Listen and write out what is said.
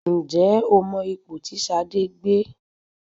Ǹjẹ́ o mọ ipò tí Ṣadé gbé?